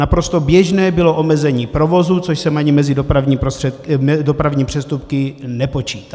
Naprosto běžné bylo omezení provozu, což jsem ani mezi dopravní přestupky nepočítal.